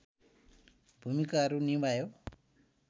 भूमिकाहरू निभायो